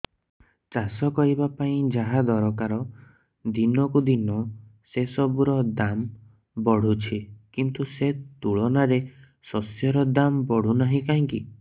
ଚାଷ କରିବା ପାଇଁ ଯାହା ଦରକାର ଦିନକୁ ଦିନ ସେସବୁ ର ଦାମ୍ ବଢୁଛି କିନ୍ତୁ ସେ ତୁଳନାରେ ଶସ୍ୟର ଦାମ୍ ବଢୁନାହିଁ କାହିଁକି